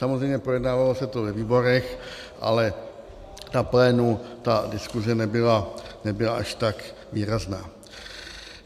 Samozřejmě projednávalo se to ve výborech, ale na plénu ta diskuze nebyla až tak výrazná.